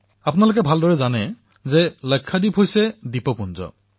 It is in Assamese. আপোনালোকে ভালদৰেই জানে যে লাক্ষাদ্বীপ কিছুমান দ্বীপৰ সমষ্টি